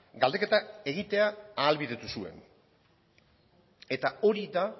galdeketak egitea ahalbidetu zuen eta hori da